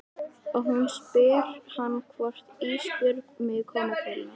Og hún spyr hann hvort Ísbjörg megi koma til hennar.